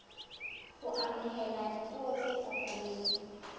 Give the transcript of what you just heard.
ho amohela dipuo tse fapaneng